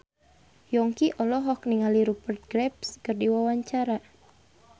Yongki olohok ningali Rupert Graves keur diwawancara